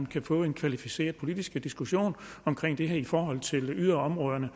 kan få en kvalificeret politisk diskussion om det her i forhold til yderområderne